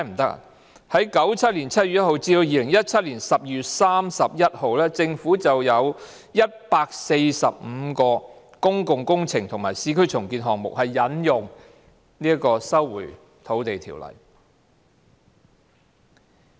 在1997年7月1日至2017年12月31日期間，政府已有145項公共工程及市區重建項目是引用《條例》收回土地。